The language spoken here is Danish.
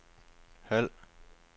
halv